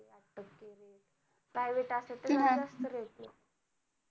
private असेल तर जरा जास्त rate